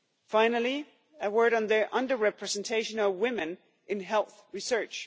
Finally, a word on the under representation of women in health research.